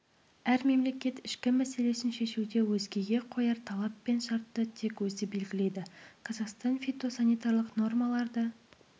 әр мемлекет ішкі мәселесін шешуде өзгеге қояр талап пен шартты тек өзі белгілейді қазақстан фитосанитарлық нормаларды